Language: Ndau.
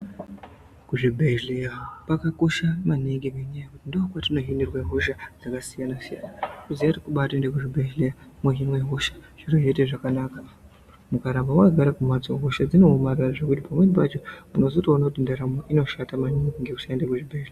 Kuzvibhedhleya kwakakosha maningi, ngenyaya yekuti ndokwatinohinirwe hosha dzakasiyana-siyana. Kuziye kuti kubaatoende kuzvibhedhleya ,mwohinwe hosha, zviro zvoite zvakanaka. Ukaramba wakagare kumphatso, hosha dzinoomarara zvekuti pamweni pacho unozotoona kuti ndaramo inoshata maningi, ngekusaende kuzvibhedhleya.